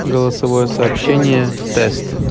голосовое сообщение тест